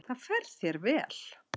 Það fer þér vel.